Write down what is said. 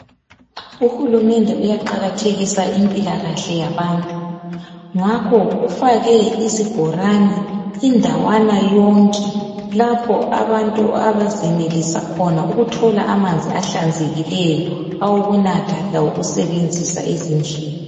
Uhulumende uyaqakathekisa impilakahle yabantu. Ngakho ufake izibhorane indawana yonke lapho abantu abazenelisa khona ukuthola amanzi ahlanzekileyo awokunatha lawokusebenzisa ezindlini.